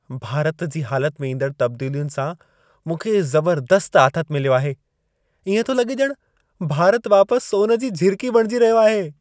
भारत जी हालत में ईंदड़ तब्दीलियुनि सां मूंखे ज़बर्दस्तु आथत मिलियो आहे। इएं थो लॻे ॼणु भारत वापसु सोन जी झिरिकी बणिजी रहियो आहे।